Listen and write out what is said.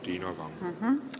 Palun, Tiina Kangro!